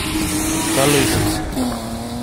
Kaloito